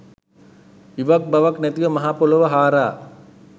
ඉවක් බවක් නැතිව මහපොළොව හාරා